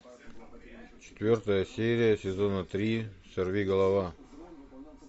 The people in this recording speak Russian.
четвертая серия сезона три сорвиголова